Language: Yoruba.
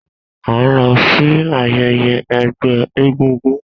A n lọ si ayẹyẹ ẹgbẹ egúngún